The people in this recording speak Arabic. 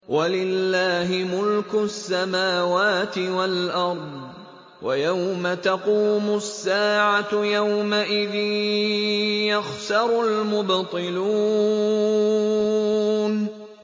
وَلِلَّهِ مُلْكُ السَّمَاوَاتِ وَالْأَرْضِ ۚ وَيَوْمَ تَقُومُ السَّاعَةُ يَوْمَئِذٍ يَخْسَرُ الْمُبْطِلُونَ